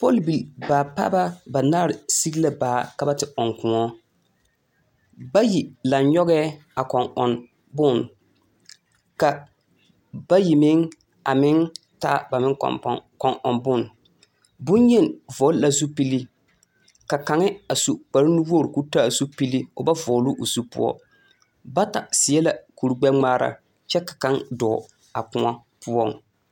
Pɔlbil-baapaaba banaare sigi la baa ka ba te ɔŋ kõɔ. Bayi laŋ-nyɔgɛɛ a kɔŋ-ɔn bone, ka, bayi meŋ a meŋ taa ba kɔŋ-pɔn kɔŋ-ɔŋ bone. Boŋyeni vɔgele la zupili. Ka kaŋe a su kparenuwogiri ko taa zupili o ba vɔgloo o zu poɔ. Bata seɛ la kur-gbɛ-ŋmaara kyɛ ka kaŋa dɔɔ a kõɔ poɔŋ.